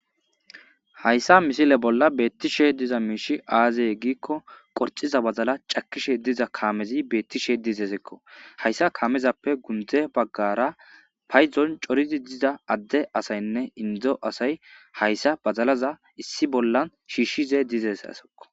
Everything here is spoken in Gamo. hayssa misile bolla beettishe diza miishi aazey giikko qorxiza bazala cakishe diza kaamezi beettishe dizesekko hayssa kaamezappe gundze baggara payzon coridi diza adde asaynne indo asay hayssa bazalaza issi bollan shiishshize dizesesekko